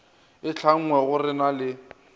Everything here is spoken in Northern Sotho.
e tlhanngwe re na le